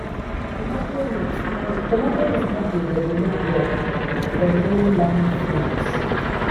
"tomato roots no "tomato roots no dey develop well for low-lying fields."